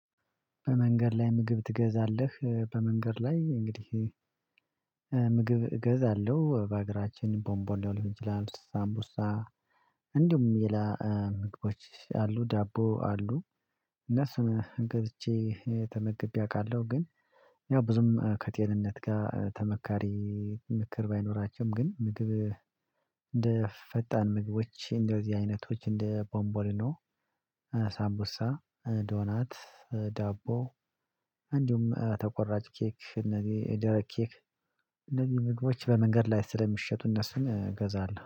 በመንገድ ላይ ምግብ ትገዛለህ? በመንገድ ላይ እንግዲህ ምግብ እገዛለሁ በአገራችን ቦንቦ ሊይሆን ይችላል። ሳምቡሳ እንዲሁም የላ ምግቦች አሉ ዳቦ አሉ። እነሱን ገዝቼ ተመግቤ አውቃለሁ። ግን ያው ብዙም ከጤንነት ጋር ተመካሪ። ምክር ባይኖራቸውም ግን ምግብ እንደ ፈጣን ምግቦች እንደዚህ አይነቶች እንደ ቦምቦሊኖ ሳምቡሳ ዶናት ዳቦ። እንዲሁም ተቆራጭ ኬክ እነዚህ የደረቅ ኬክ እነዚህ ምግቦች በመንገድ ላይ ስለሚሸጡ እነሱን እገዛለሁ